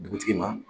Dugutigi ma